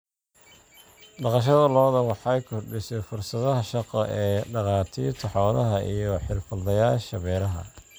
Dhaqashada lo'da lo'da waxay kordhisay fursadaha shaqo ee dhakhaatiirta xoolaha iyo xirfadlayaasha beeraha.